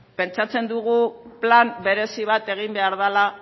pentsatzen dugu plan berezi bat egin behar dela